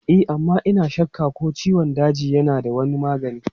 E amma ina shakka ko ciwon daji yana da wani magani.